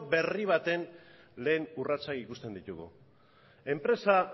berri baten lehen urratsak ikusten ditugu enpresa